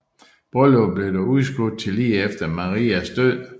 Brylluppet blev dog udskudt til lige efter Marias død